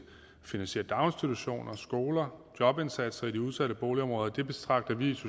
finansiere daginstitutioner skoler jobindsatser i de udsatte boligområder det betragter vi